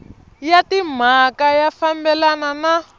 ya timhaka ya fambelana na